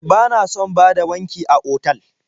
Bana son bada wanki a otal.